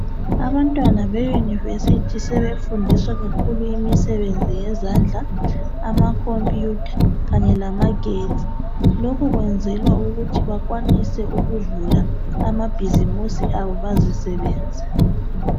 Abantwana beuniversity sebefundiswa kakhulu imsebenzi yezandla amacomputer kanye lama gedi lokhu kuyenzelwa ukuthi bakwanise ukuvula amabhizimusi abo bazisebenze.